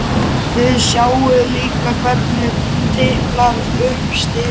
Þið sjáið líka hvernig hún tiplar upp stiga.